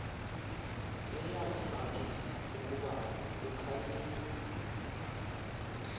eyavibangela ukuba kukhalinywe